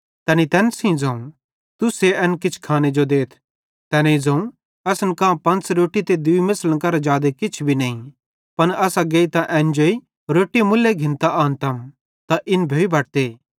तैनी तैन सेइं ज़ोवं तुस्से एन किछ खाने जो देथ तैनेईं ज़ोवं असन कां पंच़ रोट्टी ते दूई मेछ़लीन करां जादे किछ भी नईं पन असां गेइतां एन जेई रोट्टी मुल्ले घिन्तां आनतम त इन भोइ बटते